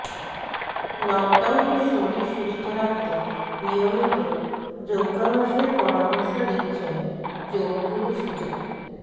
লকডাউনের শরীর সুস্থ রাখতে নিয়মিত যোগাভ্যাসের পরামর্শ দিচ্ছেন যোগ গুরু সুজা